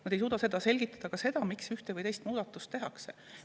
Nad ei suuda selgitada ka seda, miks üks või teine muudatus tehakse.